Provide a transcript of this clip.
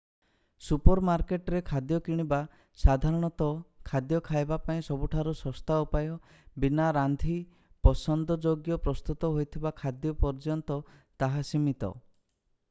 super ମାର୍କେଟରେ ଖାଦ୍ୟ କିଣିବା ସାଧାରଣତଃ ଖାଦ୍ୟ ଖାଇବା ପାଇଁ ସବୁଠାରୁ ଶସ୍ତା ଉପାୟ ବିନା ରାନ୍ଧି ପସନ୍ଦଯୋଗ୍ୟ ପ୍ରସ୍ତୁତ ହୋଇଥିବା ଖାଦ୍ୟ ପର୍ଯ୍ୟନ୍ତ ତାହା ସୀମିତ